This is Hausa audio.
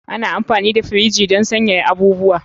Ana amfani da firiji don sanyaya abubuwa.